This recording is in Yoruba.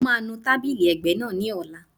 Mo máa nu tábìlì ẹ̀gbẹ́ náà ní ọ̀la